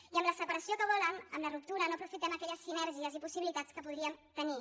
i amb la separació que volen amb la ruptura no aprofitem aquelles sinergies i possibilitats que podríem tenir